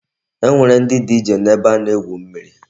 E nwere ndi DJ n'ebe a na-egwu mmiri.